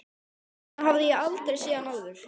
Svona hafði ég aldrei séð hann áður.